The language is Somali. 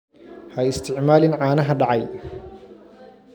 Ha isticmaalin caanaha dhacay.